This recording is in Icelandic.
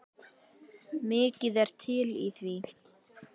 Mikið er til í því.